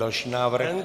Další návrh.